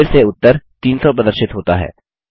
फिर से उत्तर 300 प्रदर्शित होता है